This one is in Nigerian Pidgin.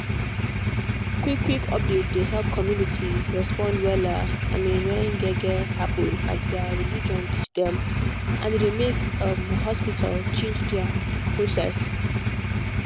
quick quick update dey help community respond wella um when gbege happen as their religion teach dem and e dey make um hospital change their process.